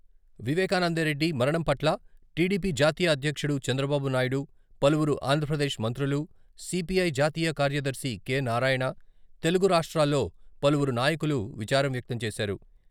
వివేకానందరెడ్డి మరణం పట్ల టిడిపి జాతీయ అధ్యక్షుడు చంద్రబాబునాయుడు, పలువురు ఆంధ్రప్రదేశ్ మంత్రులు, సిపిఐ జాతీయ కార్యదర్శి కె.నారాయణ, తెలుగు రాష్ట్రాల్లో పలువురు నాయకులు విచారం వ్యక్తం చేశారు.